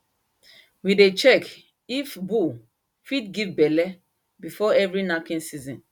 we dey check if bull fit give belle before every knacking season